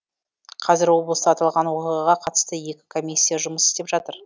қазір облыста аталған оқиғаға қатысты екі комиссия жұмыс істеп жатыр